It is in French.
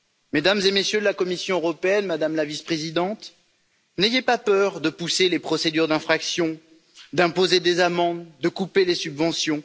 Mesdames et Messieurs de la Commission européenne, Madame la Vice présidente, n'ayez pas peur de pousser les procédures d'infraction, d'imposer des amendes, de couper les subventions.